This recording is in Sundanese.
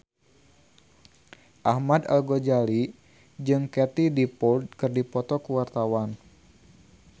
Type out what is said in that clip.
Ahmad Al-Ghazali jeung Katie Dippold keur dipoto ku wartawan